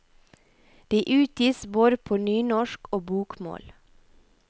De utgis både på nynorsk og bokmål.